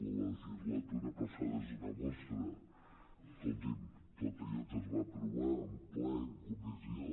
la legislatura passada n’és una mostra escolti’m tot allò que es va aprovar en ple i en comissió